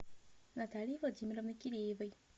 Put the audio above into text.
натальи владимировны киреевой